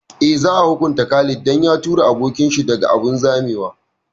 Eh, za a hukunta Khalid dan ya tura abokin shi daga abun zamewa